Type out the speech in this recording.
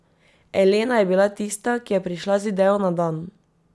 Elena je bila tista, ki je prišla z idejo na dan.